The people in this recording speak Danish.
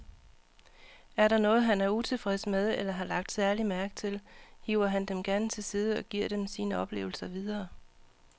Er der noget, han er utilfreds med eller har lagt særlig mærke til, hiver han dem gerne til side og giver sine oplevelser videre.